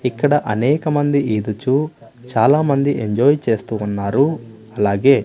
ఇక్కడ అనేకమంది ఈదుచు చాలామంది ఎంజాయ్ చేస్తూ ఉన్నారు అలాగే--